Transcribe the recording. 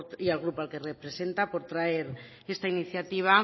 y al grupo que representa por traer esta iniciativa